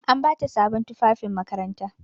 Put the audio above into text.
An ba ta sabon tufafin makaranta.